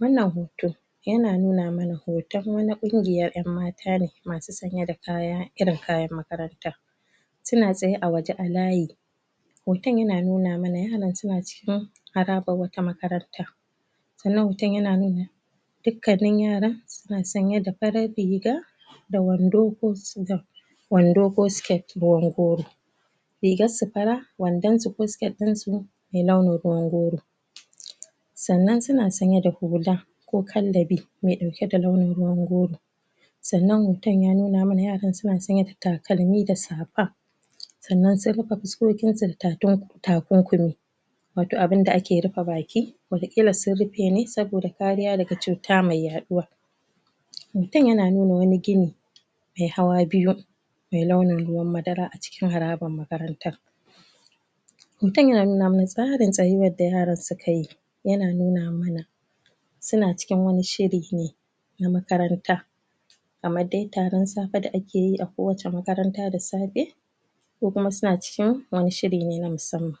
Wannan hoto ya na nuna mana hoton wana kungiyar ƴanmata ne masu sanye da kaya, irin kayan makaranta suna tsaye a waje a layi hoton ya na nuna mana yaran su na cikin harabar wata makaranta tsanan hoton ya na nuna dukanan yaran, su na tsanye da riga da wando ko su wando ko skirt rigar su fara, wandon su ko skirt din su mai launar ruwan goro sannan su na tsanye da hulla ko kallabi, me dauke da launin ruwan goro tsannan hoton ya nuna mana yaran suna tsanye da takalmi da sapa tsannan sai mu ka fi son takunkumi wato abunda a ke rufa baki wata killa sun rufe ne saboda kariya da ga cuta mai yaɗuwa mutum ya na nuna wani gini mai hawa biyu mai launir ruwar madara a cikin harabar makarantan. Mutum ya na nuna ma na tsarin tsayuwar da yaran su ka yi ya na nu na mana su na cikin wani shiri ne, na makaranta a ma dai taren safen da a ke yi a kowace makaranta da safe ko kuma su na cikin wani shiri ne na musamman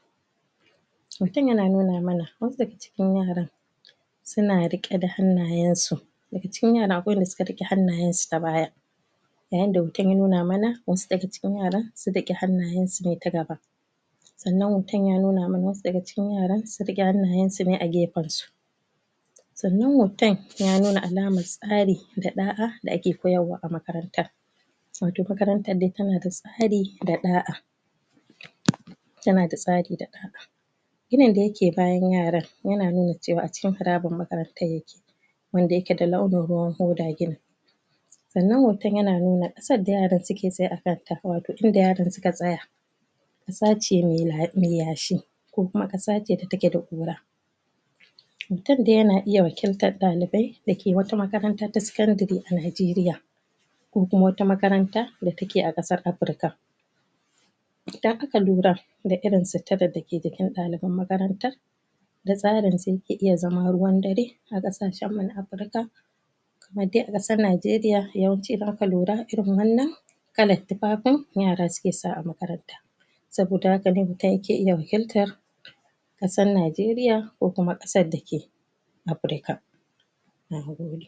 mutum ya na nuna mana, wassu da ga cikin yaran su na riƙe da hannayen su daga cikin yara akwai wanda su ka rike hannayen su ta baya yayan da hoton ya nuna mana, wassu daga cikin yaran sun daki hannayen su ne ta gaba tsannan hoton ya nuna mana wassu da ga cikin yaran su rike hannayen su ne a gefen su tsannan hoton ya nuna alamar tsari da daa da ake koyarwa a makaranta wato makarantar dai ta na da tsari da daa ya na da tsari da daa ginin da yake bayan yaran yana nuna cewa a cikin harabar makarantan ya ke wanda ya ke da launin ruwar tsannan hoton ya na nuna kasar da yaran su ke siye a kan ta, wato inda yaran su ka tsaya kasa ce mai la mai yashi ko kuma kassa ce da ta ke da kura mutum dai ya na iya wakintar dalibe da ke wata makaranta ta sakandiry a Najeriya ko kuma wata makaranta da ta ke a kasar Afrika. Idan a ka lura da irin suttara da jikin daliben makarantan da tsari su ya ke iya zama ruwan dare a kasacen mu na Aprika kamar de a kasar Najeriya yawanci za ka lura irin wannan yara su ke sa a makaranta saboda haka ne mutum ya ke iya mukilta kasan Najerya ko kuma kasar da ke Aprika nagode.